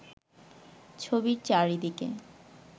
ছবির চারিদিকে